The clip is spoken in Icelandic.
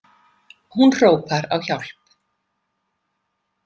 Hún hrópar á hjálp.